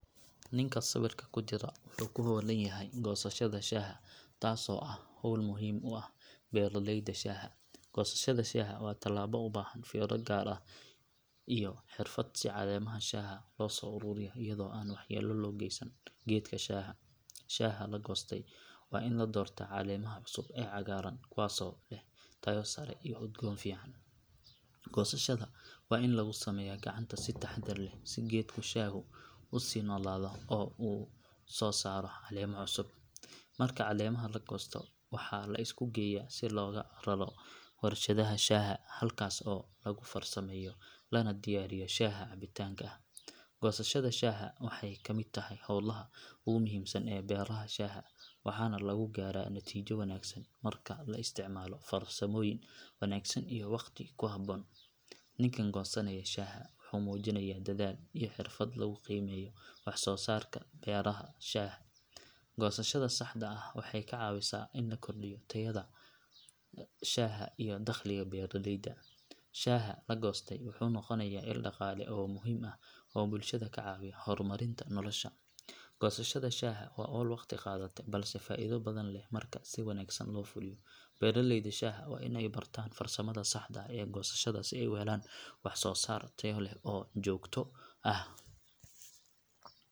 Ninka sawirka ku jira wuxuu ku hawlan yahay goosashada shaaha taasoo ah hawl muhiim u ah beeralayda shaaha. Goosashada shaaha waa tallaabo u baahan fiiro gaar ah iyo xirfad si caleemaha shaaha loo soo ururiyo iyadoo aan waxyeello loo geysan geedka shaaha. Shaaha la goostay waa in la doortaa caleemaha cusub ee cagaaran kuwaasoo leh tayo sare iyo udgoon fiican. Goosashada waa in lagu sameeyaa gacanta si taxaddar leh si geedka shaahu u sii noolaado oo u soo saaro caleemo cusub. Marka caleemaha la goosto waxaa la isku geeyaa si loogu raro warshadaha shaaha halkaas oo lagu farsameeyo lana diyaariyo shaaha cabitaanka ah. Goosashada shaaha waxay ka mid tahay howlaha ugu muhiimsan ee beeraha shaaha waxaana lagu gaaraa natiijo wanaagsan marka la isticmaalo farsamooyin wanaagsan iyo waqti ku habboon. Ninkaan goosanaya shaaha wuxuu muujinayaa dadaal iyo xirfad lagu qiimeeyo wax soo saarka beeraha shaaha. Goosashada saxda ah waxay ka caawisaa in la kordhiyo tayada shaaha iyo dakhliga beeraleyda. Shaaha la goostay wuxuu noqonayaa il dhaqaale oo muhiim ah oo bulshada ka caawiya horumarinta nolosha. Goosashada shaaha waa hawl waqti qaadata balse faa’iido badan leh marka si wanaagsan loo fuliyo. Beeraleyda shaaha waa in ay bartaan farsamada saxda ah ee goosashada si ay u helaan wax soo saar tayo leh oo joogto ah.